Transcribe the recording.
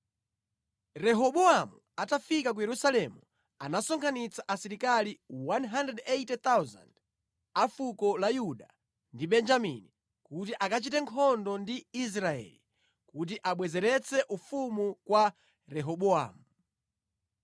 Rehobowamu atafika ku Yerusalemu anasonkhanitsa asilikali 180,000 a fuko la Yuda ndi Benjamini kuti akachite nkhondo ndi Israeli, kuti abwezeretse ufumu kwa Rehobowamu.